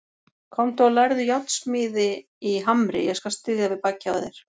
Komdu og lærðu járnsmíði í Hamri, ég skal styðja við bakið á þér.